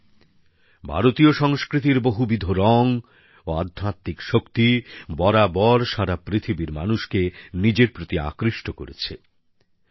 বন্ধুরা ভারতীয় সংস্কৃতির বহুবিধ রং ও আধ্যাত্মিক শক্তি সবসময়ই সারা পৃথিবীর মানুষকে নিজের প্রতি আকৃষ্ট করেছে